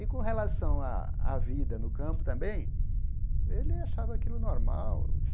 E com relação à à vida no campo também, ele achava aquilo normal.